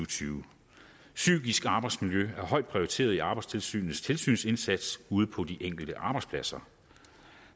tyve psykisk arbejdsmiljø er højt prioriteret i arbejdstilsynets tilsynsindsats ude på de enkelte arbejdspladser